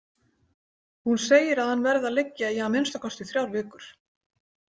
Hún segir að hann verði að liggja í að minnsta kosti þrjár vikur.